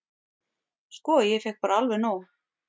"""Sko, ég fékk bara alveg nóg."""